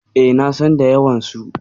E, na san da yawansu.